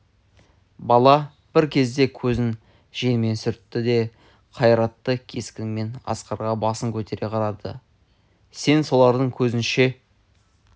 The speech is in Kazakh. бала бір кезде көзін жеңімен сүртті де қайратты кескінмен асқарға басын көтере қарады сен олардың көзінше